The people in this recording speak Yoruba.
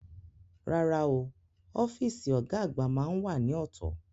Rárá o, ọ́fíìsì ọ̀gá àgbà máá ń wà ní ọ̀tọ̀